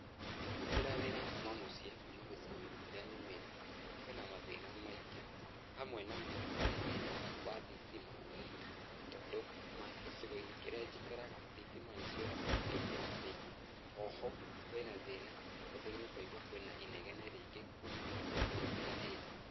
Kũrutĩra wĩra kuuma mũciĩ kuuma gĩcigo-inĩ kĩrĩa nyumĩte, kwĩna mathĩna maingĩ. Hamwe namo arĩ thĩna wa thitima tondũ gĩcigo-inĩ kĩrĩa njikaraga thitima nĩ ciũraga kaingĩ na kaingĩ. O ho, kwĩna thĩna tondũ nĩ ũkũigua kwĩna inegene rĩingĩ kuuma kũndũ gũtiganĩte